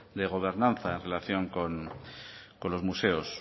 de gobernanza en relación con los museos